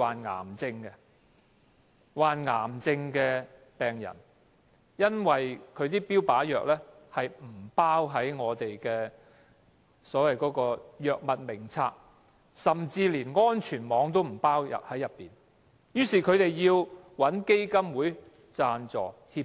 他們均是癌症病人，服用的標靶藥不包含在《醫院管理局藥物名冊》中，甚至不在安全網補助的藥物名單之上，他們於是找基金會幫助，乞